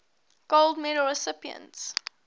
gold medal recipients